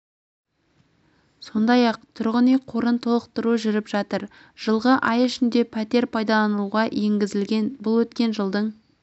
сондай-ақ тұрғын үй қорын толықтыру жүріп жатыр жылғы ай ішінде пәтер пайдалануға енгізілген бұл өткен жылдың